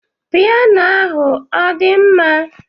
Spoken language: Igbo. Piyano ahụ ọdịmma?